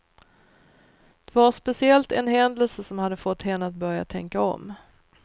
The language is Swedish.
Det var speciellt en händelse som hade fått henne att börja tänka om.